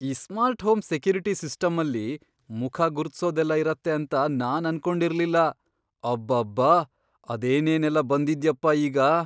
ಈ smart home security ಸಿಸ್ಟಮ್ಮಲ್ಲಿ ಮುಖ ಗುರುತ್ಸೋದೆಲ್ಲ ಇರತ್ತೆ ಅಂತ ನಾನ್ ಅನ್ಕೊಂಡಿರ್ಲಿಲ್ಲ, ಅಬ್ಬಬ್ಬಾ! ಅದೇನೇನೆಲ್ಲ ಬಂದಿದ್ಯಪ್ಪ ಈಗ!